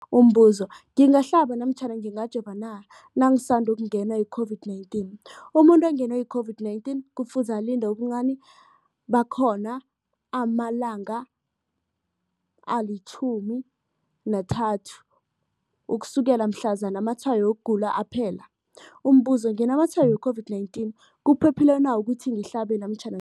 Umbuzo, ngingahlaba namkha ngingajova na nangisandu kungenwa yi-COVID-19? Umuntu ongenwe yi-COVID-19 kufuze alinde ubuncani bakhona ama-30 wama langa ukusukela mhlazana amatshayo wokugula aphela. Umbuzo, nginamatshayo we-COVID-19, kuphephile na ukuthi ngihlabe namkha